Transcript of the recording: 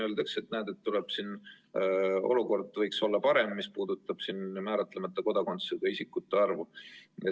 Öeldakse, et näed, olukord võiks olla parem, mis puudutab määratlemata kodakondsusega isikute arvu.